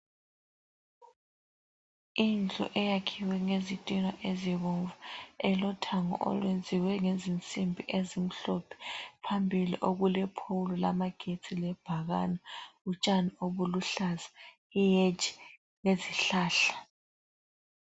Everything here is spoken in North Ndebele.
Indlu eyakhiwe ngezitina ezibomvu, elothango olwenziwe ngezinsimbi ezimhlophe, phambili okulephowulu lamagetsi lebhakane, utshani obuluhlaza, iheji lezihlahla.